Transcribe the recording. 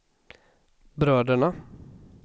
bröderna